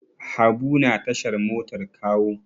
Habu na tashar motar Kawo.